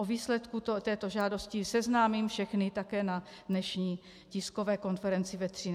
S výsledkem této žádosti seznámím všechny také na dnešní tiskové konferenci ve 13 hodin.